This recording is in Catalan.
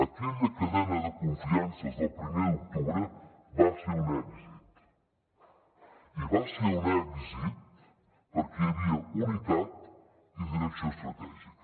aquella cadena de confiances del primer d’octubre va ser un èxit i va ser un èxit perquè hi havia unitat i direcció estratègica